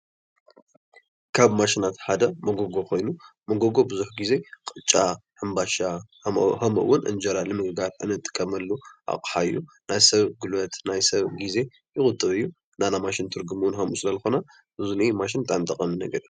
ካብ ማሽናት ሓደ ሞጎጎ ኮይኑ መጎጎ ብዙሕ ግዜ ቅጫ ፣ሕምባሻ ከምኡ እውን እንጀራ ንምግጋር ንጥቀመሉ ኣቕሓ እዩ ።ናይ ሰብ ጉልበት ናይ ሰብ ግዘ ይቁጥብ እዩ ።ናይና ማሽን ትርጉም እዉን ከምኡ ዝለ ዝኾነ ኣብ'ዚ እኒአ ማሽን ብጣዕሚ ጠቃሚ ነገር እዩ።